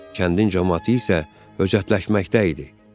Kəndin camaatı isə höcətləşməkdəydi.